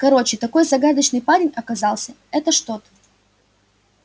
короче такой загадочный парень оказался это что-то